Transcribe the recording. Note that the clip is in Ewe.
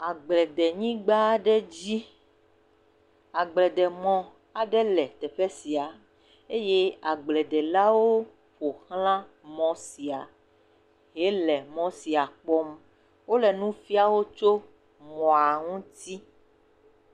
Agble de nyigba aɖe dzi, agbledemɔ aɖe le teƒe sia eye agbledelawo ƒo xla mɔ sia hele mɔ sia kpɔm. wole nu fia wo tso mɔa ŋuti.